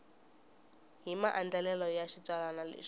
hi maandlalelo ya xitsalwana lexi